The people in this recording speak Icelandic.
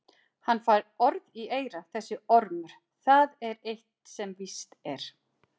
Hann fær orð í eyra þessi ormur, það er eitt sem víst er.